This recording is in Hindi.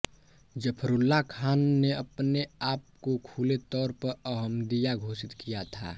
ज़फ़रुल्लाह खान ने अपने आप को खुले तौर पर अहमदिया घोषित किया था